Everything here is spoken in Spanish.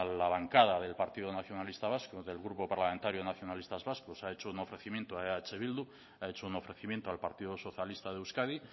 la bancada del partido nacionalista vasco del grupo parlamentario nacionalistas vascos ha hecho un ofrecimiento a eh bildu ha hecho un ofrecimiento al partido socialista de euskadi